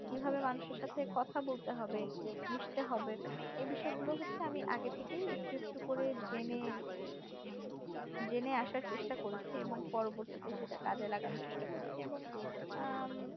কিভাবে মানুষের সাথে কথা বলতে হবে মিশতে হবে এই বিষয়গুলো হচ্ছে আমি আগে থেকে একটু একটু করে জেনে মানে জেনে আসার চেষ্টা করেছি এবং পরবর্তীতে সেটা কাজে লাগানোর চেষ্টা করেছি এবং উম